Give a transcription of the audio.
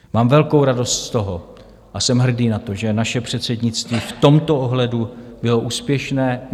Mám velkou radost z toho a jsem hrdý na to, že naše předsednictví v tomto ohledu bylo úspěšné.